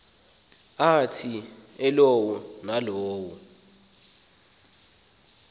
athi elowo nalowo